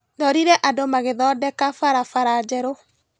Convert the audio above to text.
Ndorire andũ magĩthondeka barabara njerũ.